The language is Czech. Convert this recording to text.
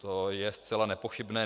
To je zcela nepochybné.